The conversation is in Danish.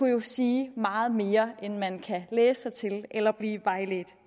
jo sige meget mere end man kan læse sig til eller blive vejledt